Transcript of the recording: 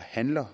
handler